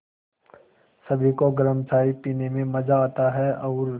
सभी को गरम चाय पीने में मज़ा आता है और